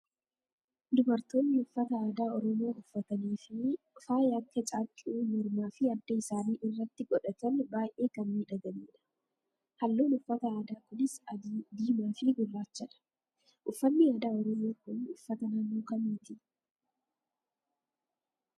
Dubartoonni uffata aadaa Oromoo uffatanii fi faaya akka caaccuu mormaa fi adda isaanii irratti godhatan baay'ee kan midhaganidha. Halluun uffata aadaa kunis adii, diimaa fi gurrachadha. Uffanni aadaa Oromoo kun uffata naannoo kamiiti?